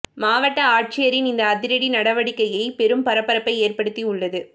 மாவட்ட ஆட்சியரின் இந்த அதிரடி நடவடிக்கையை பெரும் பரபரப்பை ஏற்படுத்தி உள்ளது